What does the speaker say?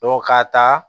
ka taa